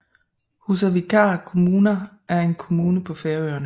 Húsavíkar kommuna er en kommune på Færøerne